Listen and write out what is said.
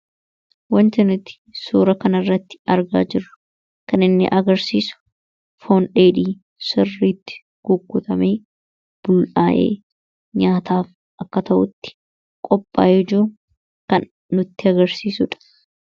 wanti nuti suura kan irratti argaa jirru kan inni agarsiisu foondheedhi sirriitti gukkutame bul'aa'ee nyaataaf akka ta'utti qophaa hejuu kan nutti agarsiisudha